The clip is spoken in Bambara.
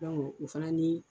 o fana ni